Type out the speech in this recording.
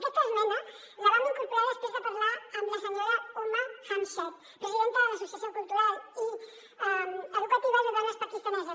aquesta esmena la vam incorporar després de parlar amb la senyora huma jamshed presidenta de l’associació cultural i educativa de dones pakistaneses